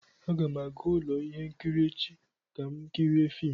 Aga m aga ụlọ ihe nkiri echi ka m kirie fim